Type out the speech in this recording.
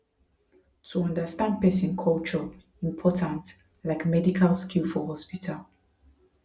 to understand person culture important like medical skill for hospital